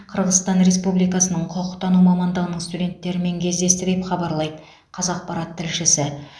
қырғызстан республикасының құқықтану мамандығының студенттерімен кездесті деп хабарлайды қазақпарат тілшісі